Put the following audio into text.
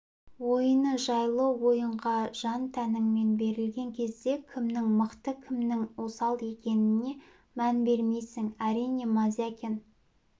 ойыны жайлы ойынға жан-тәніңмен берілген кезде кімнің мықты кімнің осал екеніне мән бермейсің әрине мозякин